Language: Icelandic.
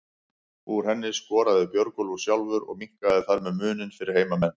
Úr henni skoraði Björgólfur sjálfur og minnkaði þar með muninn fyrir heimamenn.